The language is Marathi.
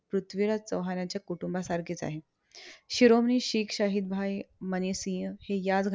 पृथ्वीराज चौहान यांच्या कुटुंबासारखेच आहे. शिरोमणी शीख शाहिदभाई मनीसिहं हे ह्याच